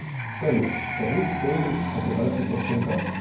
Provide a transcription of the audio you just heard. салют скажи историю операций по всем картам